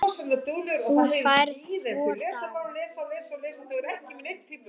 Þú færð tvo daga.